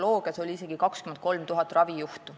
Juures on isegi 23 000 ravijuhtu.